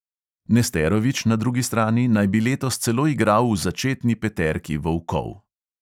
Nesterovič, na drugi strani, naj bi letos celo igral v začetni peterki "volkov".